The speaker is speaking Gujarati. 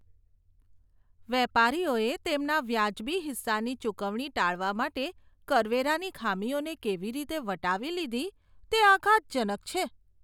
વેપારીઓએ તેમના વાજબી હિસ્સાની ચૂકવણી ટાળવા માટે કરવેરાની ખામીઓને કેવી રીતે વટાવી લીધી, તે આઘાતજનક છે.